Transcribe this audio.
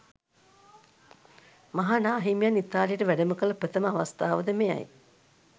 මහනාහිමියන් ඉතාලියට වැඩමකළ ප්‍රථම අවස්ථාවද මෙයයි.